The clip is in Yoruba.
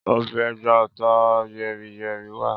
Ọbẹ̀ ẹja ata yẹ́ri-yẹ́rí wa